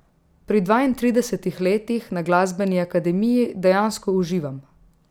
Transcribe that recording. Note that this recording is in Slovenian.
Pri dvaintridesetih letih na glasbeni akademiji dejansko uživam.